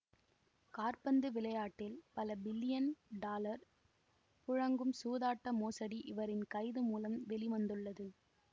காற்பந்து விளையாட்டில் பல பில்லியன் டாலர் புழங்கும் சூதாட்ட மோசடி இவரின் கைது மூலம் வெளி வந்துள்ளது